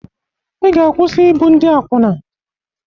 Ị ga-akwụsị ibu ndị akwụna.